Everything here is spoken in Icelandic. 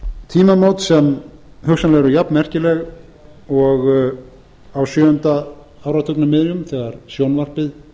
tímamót sem hugsanlega eru jafnmerkileg og á sjöunda áratugnum miðjum þegar sjónvarpið